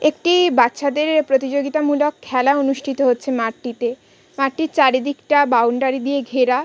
একটি-ই বাচ্চাদের প্রতিযোগিতা মূলক খেলা অনুষ্ঠিত হচ্ছে মাটিতে। মাটির চারিদিকটা বাউন্ডারি দিয়ে ঘেরা।